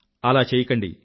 అలా చెయ్యకండి